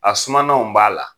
A sumananw b'a la